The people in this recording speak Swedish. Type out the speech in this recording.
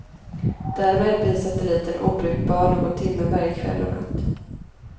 Därmed blir satelliten obrukbar någon timme varje kväll och natt.